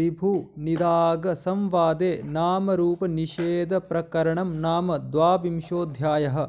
ऋभुनिदाघसंवादे नामरूपनिषेधप्रकरणं नाम द्वाविंशोऽध्यायः